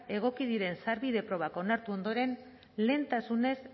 egoki diren sarbide probak onartu ondoren lehentasunez